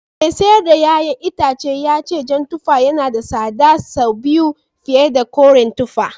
Mai sayar da ’ya’yan itacen ya ce jan tuffa yana da tsada sau biyu fiye da koren tuffa